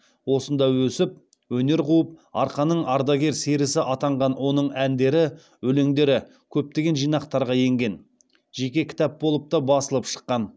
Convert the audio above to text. осында өсіп өнер қуып арқаның ардагер серісі атанған оның әндері өлеңдері көптеген жинақтарға енген жеке кітап болып та басылып шыққан